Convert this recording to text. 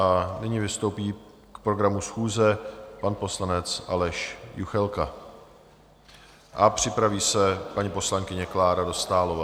A nyní vystoupí k programu schůze pan poslanec Aleš Juchelka a připraví se paní poslankyně Klára Dostálová.